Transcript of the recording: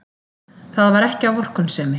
Það var ekki af vorkunnsemi.